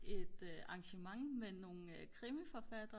et arrangement med nogle krimiforfattere